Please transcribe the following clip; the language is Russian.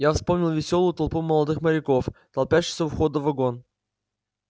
я вспомнил весёлую толпу молодых моряков толпящуюся у входа в вагон